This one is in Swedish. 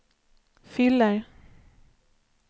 fyller